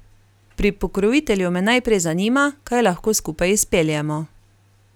Pri pokrovitelju me naprej zanima, kaj lahko skupaj izpeljemo.